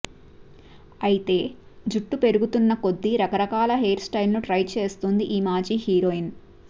అయితే జుట్టు పెరుగుతున్న కొద్దీ రకరకాల హెయిర్ స్టైల్స్ను ట్రై చేస్తోంది ఈ మాజీ హీరోయిన్